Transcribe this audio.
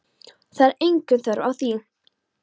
Það er engin þörf á því.